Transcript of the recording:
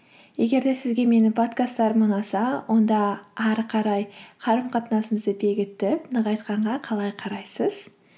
егер де сізге менің подкасттарым ұнаса онда ары қарай қарым қатынасымызды бекітіп нығайтқанға қалай қарайсыз